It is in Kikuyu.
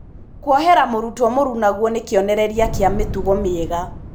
Kuohera mũrutwo mũrunagwo nĩ kĩonereria kĩa mĩtugo mĩega